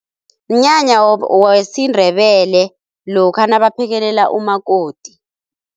Mnyanya wesiNdebele lokha nabaphekelela umakoti.